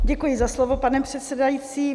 Děkuji za slovo, pane předsedající.